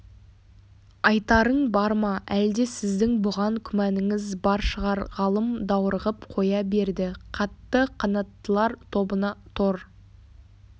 айтарың бар ма әлде сіздің бұған күмәніңіз бар шығар ғалым даурығып қоя берді қатты қанаттылар тобына тор